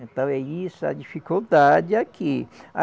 Então é isso, a dificuldade aqui. A